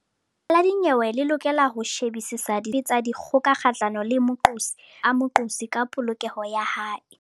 Lekgotla la dinyewe le lokela ho shebisisa ditshoso dife kapa dife tsa dikgoka kgahlano le moqosi le ho mamela maikutlo a moqosi ka polokeho ya hae.